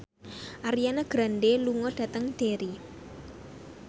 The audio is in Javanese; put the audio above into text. Ariana Grande lunga dhateng Derry